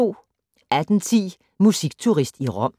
18:10: Musikturist i Rom